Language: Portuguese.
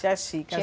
Tchachica.